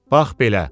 Bax belə.